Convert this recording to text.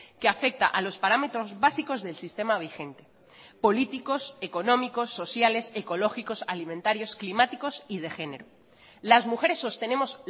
que afecta a los parámetros básicos del sistema vigente políticos económicos sociales ecológicos alimentarios climáticos y de género las mujeres sostenemos